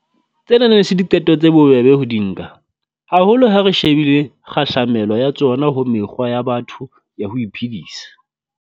Tsena ne e se diqeto tse bobebe ho di nka, haholo ha re shebile kgahlamelo ya tsona ho mekgwa ya batho ya ho iphedisa.